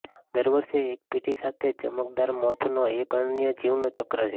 દર વર્ષે એક પેઢી સાથે ચમકદાર મોથનો એક અનન્ય જીવન ચક્ર છે